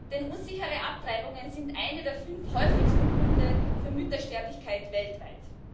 Denn unsichere Abtreibungen sind einer der fünf häufigsten Gründe für Müttersterblichkeit weltweit.